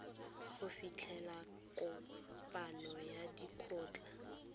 go fitlhela kopano ya lekgotlha